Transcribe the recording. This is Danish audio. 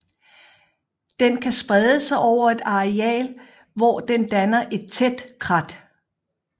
Den kan sprede sig over et areal hvor den danner et tæt krat